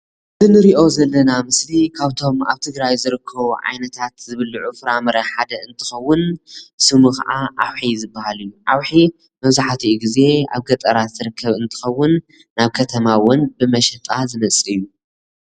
እንሪኦ ዘለና ምስል ካብቶም ኣብ ትግራይ ዝርከቡ ዓይነታት ዝብልዑ ፍራ - ምረ ሓደ ዝንትከውን ስሙ ከዓ ኣውሒ ዝባሃል እዩ፡፡ ኣውሒ መብዛሕትኡ ግዜ ኣብ ገጠራት ዝርከብ እንትከውን ናብ ከተማ እውን ብመሸጣ ዝመፅእ እዩ፡፡